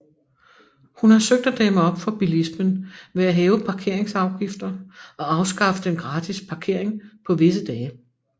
Hun har søgt at dæmme op for bilismen ved at hæve parkeringsafgifter og afskaffe den gratis parkering på visse dage